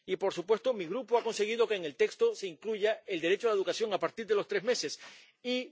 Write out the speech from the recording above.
Y, por supuesto, mi Grupo ha conseguido que en el texto se incluya el derecho a la educación a partir de los tres meses y la prohibición de...